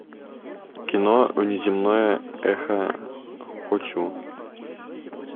кино внеземное эхо хочу